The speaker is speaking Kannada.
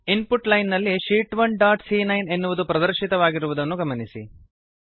ಇನ್ ಪುಟ್ ಲೈನ್ ನಲ್ಲಿ ಶೀಟ್ 1 ಡಾಟ್ ಸಿಎ9 ಎನ್ನುವುದು ಪ್ರದರ್ಶಿತವಾಗಿರುವುದನ್ನು ಗಮನಿಸಿ